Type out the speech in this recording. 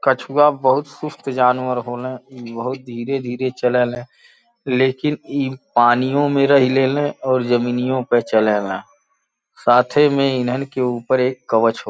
कछुवा बहोत सुस्त जानवर होल। बहोत धीरे-धीरे चले ले लेकिन इ पानियो में रही लेले और जमीनियो पे चलेले। साथै में इन्हन के ऊपर एक कवच हो --